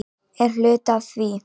Er hluti af því?